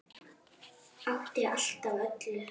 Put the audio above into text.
Átti allt af öllu.